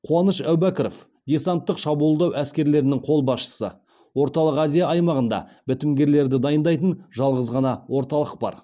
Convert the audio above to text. қуаныш әбубәкіров десанттық шабуылдау әскерлерінің қолбасшысы орталық азия аймағында бітімгерлерді дайындайтын жалғыз ғана орталық бар